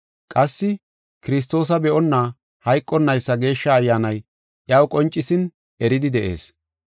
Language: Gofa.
Qassi Kiristoosa be7onna hayqonnaysa Geeshsha Ayyaanay iyaw qoncisin eridi de7ees.